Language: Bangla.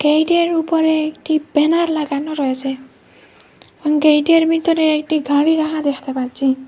গেইটে র উপরে একটি ব্যানার লাগানো রয়েসে গেইটে র ভিতরে একটি গাড়ি রাখা‌ দেখতে পাচ্ছি।